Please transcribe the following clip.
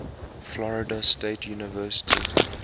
florida state university